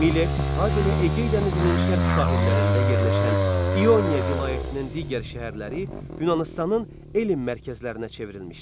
Milet, habelə Egeydənizin şərq sahillərində yerləşən İyonia vilayətinin digər şəhərləri Yunanistanın elm mərkəzlərinə çevrilmişdi.